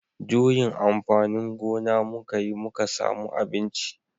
Juyin amfanin gona muka yi muka samu abinci